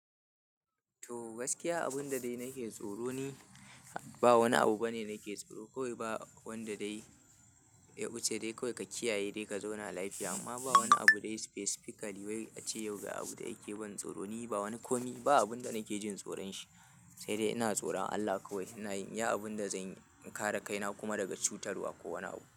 To gaskiya abin da dai nake tsoro ni, ba wani abu bane nake tsoro. Kowai ba wanda dai ya wuce dai kawai ka kiyaye dai ka zauna lafiya amma ba wani abu dai specifically wai ace yau ga abu dai yake ban tsoro ni ba wani komi. Ba abin da nake jin tsoron shi, sai dai ina tsoran Allah kawai. Ina yin iya abin da zanyi in kare kaina kuma daga cutarwa ko wani abu.